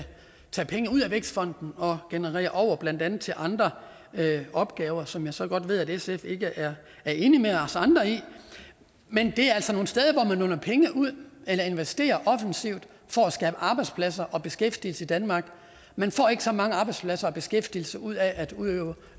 tage penge ud af vækstfonden og generere over til blandt andet andre opgaver som jeg så godt ved at sf ikke er enige med os andre i men det er altså nogle steder hvor man låner penge ud eller investerer offensivt for at skabe arbejdspladser og beskæftigelse i danmark man får ikke så mange arbejdspladser og beskæftigelse ud af